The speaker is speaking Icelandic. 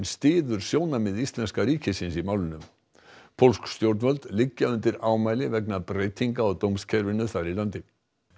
styður sjónarmið íslenska ríkisins í málinu pólsk stjórnvöld liggja undir ámæli vegna breytinga á dómskerfinu þar í landi